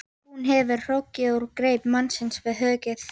Hún hefur hrokkið úr greip mannsins við höggið.